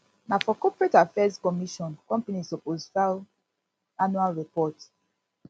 na for corporate affairs commission companies suppose file annual report